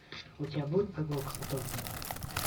у тебя будет прогулка по токио